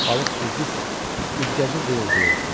Balıq süzdükcə üzgəci vıyıldayırdı.